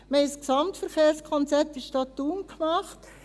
Wir haben in der Stadt ein Gesamtverkehrskonzept Thun gemacht.